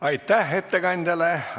Aitäh ettekandjale!